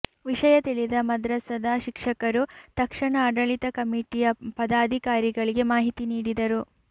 ವಿಷಯ ತಿಳಿದ ಮದ್ರಸದ ಶಿಕ್ಷಕರು ತಕ್ಷಣ ಆಡಳಿತ ಕಮಿಟಿಯ ಪದಾಧಿಕಾರಿಗಳಿಗೆ ಮಾಹಿತಿ ನೀಡಿದರು